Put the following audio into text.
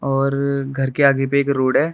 और घर के आगे पे एक रोड है।